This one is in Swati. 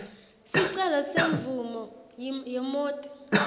sicelo semvumo yemoti